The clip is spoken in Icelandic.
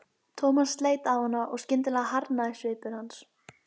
Thomas leit á hann og skyndilega harðnaði svipur hans.